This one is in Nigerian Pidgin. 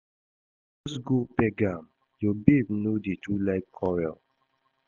Just go beg am, your babe no dey too like quarrel